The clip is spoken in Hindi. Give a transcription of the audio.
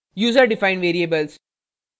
user defined variables